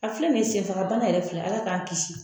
A filɛ nin ye , senfaga bana yɛrɛ filɛ ala k'an kisi